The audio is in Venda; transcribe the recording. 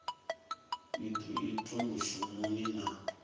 i do itwa mushumoni na